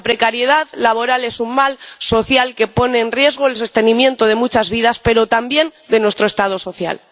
La precariedad laboral es un mal social que pone en riesgo el sostenimiento de muchas vidas, pero también de nuestro Estado social.